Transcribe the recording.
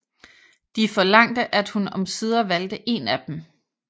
De forlangte at hun omsider valgte en af dem